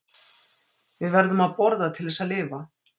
Við verðum að borða til þess að lifa.